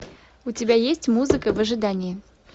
у тебя есть музыка в ожидании